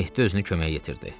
Mehdi özünü köməyə yetirdi.